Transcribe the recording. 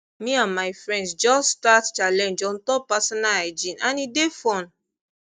me and my friends just start challenge on top personal hygiene and e dey fun